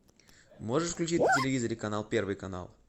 можешь включить на телевизоре канал первый канал